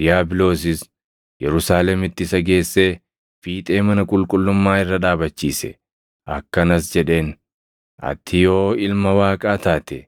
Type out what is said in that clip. Diiyaabiloosis Yerusaalemitti isa geessee, fiixee mana qulqullummaa irra dhaabachiise. Akkanas jedheen; “Ati yoo Ilma Waaqaa taate,